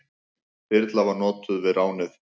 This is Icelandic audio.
Þyrla var notuð við ránið.